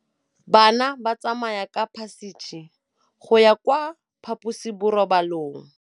Bana ba tsamaya ka phašitshe go ya kwa phaposiborobalong.